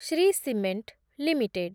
Shri cement limited